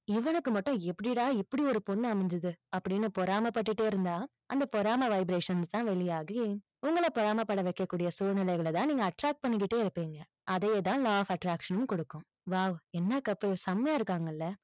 இவனுக்கு மட்டும் எப்படிடா இப்படி ஒரு பொண்ணு அமஞ்சுது? அப்படின்னு பொறாமை பட்டுட்டே இருந்தா, அந்த பொறாமை vibrations தான் வெளியாகி, உங்களை பொறாமை பட வைக்க கூடிய சூழ்நிலைகளை தான் நீங்க attract பண்ணிகிட்டே இருப்பீங்க. அதேதான் law of attraction னும் கொடுக்கும் wow என்ன couple செமையா இருக்காங்கல்ல?